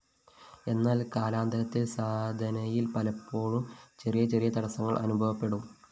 എന്നാല്‍ കാലാന്തരത്തില്‍ സാധനയില്‍ പലേപ്പാഴും െചറിയ െചറിയ തടസ്സങ്ങള്‍ അനുഭവെപ്പടും